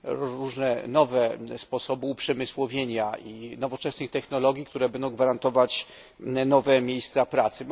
różne nowe sposoby uprzemysłowienia i nowoczesne technologie, które będą gwarantować nowe miejsca pracy.